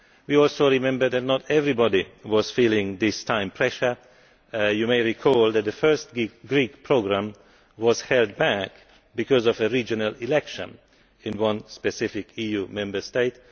We also remember that not everybody was feeling this time pressure. You may recall that the first Greek programme was held back because of a regional election in one specific EU Member State.